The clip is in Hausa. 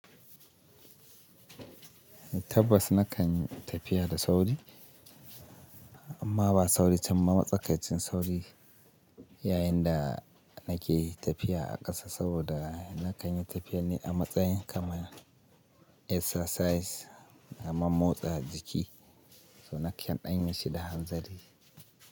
Tabbas nakan yi tafiya da sauri, amma ba sauri can ba matsakancin sauri yayin da nake tafiya a ƙasa saboda nakan yi tafiya ne a matsayin kamar exercise, kamar motsa jiki, so nakan ɗanye shi da hanzari.